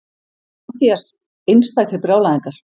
MATTHÍAS: Einstakir brjálæðingar!